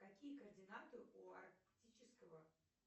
какие координаты у арктического